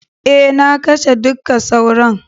Eh, na kashe dukka sauron.